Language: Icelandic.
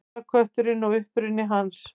Jólakötturinn og uppruni hans.